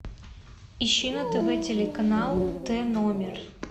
ищи на тв телеканал т номер